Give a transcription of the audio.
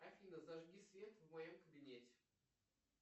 афина зажги свет в моем кабинете